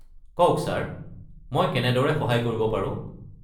কওক ছাৰ, মই কেনেদৰে সহায় কৰিব পাৰো?